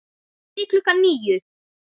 Fyrir klukkan níu.